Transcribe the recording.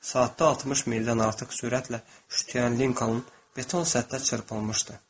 Saatda 60 mildən artıq sürətlə şütüyən Linkanın beton səthə çırpılmışdı.